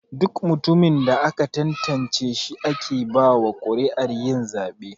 Duk mutumin da aka tantance shi ake bawa kuri'ar yin zabe.